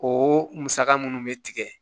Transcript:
O musaka minnu bɛ tigɛ